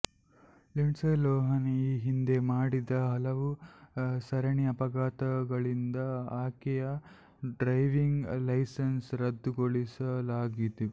Lindsay Lohan ಈ ಹಿಂದೆ ಮಾಡಿದ ಹಲವು ಸರಣಿ ಅಪಘಾತಗಳಿಂದ ಆಕೆಯ ಡ್ರೈವಿಂಗ್ ಲೈಸನ್ಸ್ ರದ್ದುಗೊಳಿಸಲಾಗಿತ್ತು